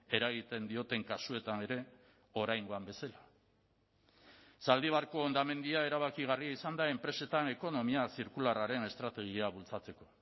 eragiten dioten kasuetan ere oraingoan bezala zaldibarko hondamendia erabakigarria izan da enpresetan ekonomia zirkularraren estrategia bultzatzeko